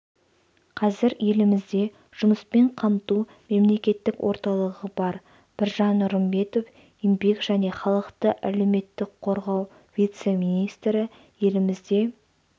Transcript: қазір елімізде жұмыспен қамту мемлекеттік орталығы бар біржан нұрымбетов еңбек және халықты әлеуметтік қорғау вице-министрі елімізде